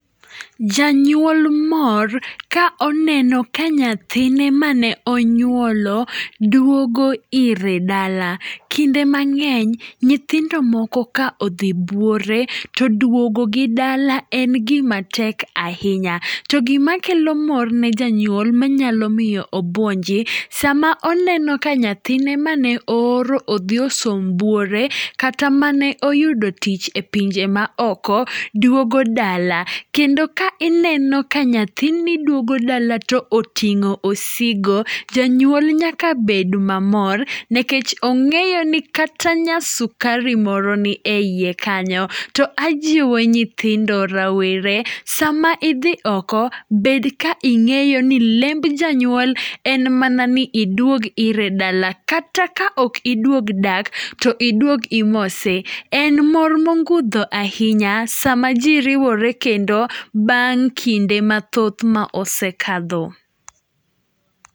Janyuol mor ka oneno ka nyathine mane onyuolo duogo ire dala. Kinde mang'eny nyithindo moko ka odhi buore to duogogi dala en gima tek ahinya. To gima kelo mor ne janyuol ma nyalo miyo obuonji, sama oneno ka nyathine mane ooro ni odhi osom buore kata mane oyudo tich e pinje maoko duogo dala. Kendo ka ineno ka nyathini duogo dala to oting'o osigo, janyuol nyaka bed mamor nikechong'eyo ni kata nyasukar moro ni eiye kanyo. To ajiwo nyithindo rawere sama idhi oko, bed ka ing'eyo ni lemb janyuol en mana ni iduog ire dala kata ka ok iduog dak, to iduog imose. En mor mogundho ahinya sama ji riwore kendo bang' kinde mathoth ma osekadho.